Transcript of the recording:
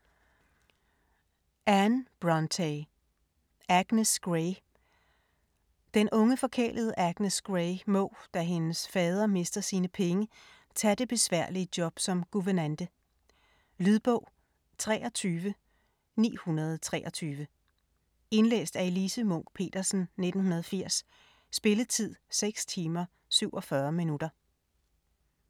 Brontë, Anne: Agnes Grey Den unge forkælede Agnes Grey må, da hendes fader mister sine penge, tage det besværlige job som guvernante. Lydbog 23923 Indlæst af Elise Munch-Petersen, 1980. Spilletid: 6 timer, 47 minutter.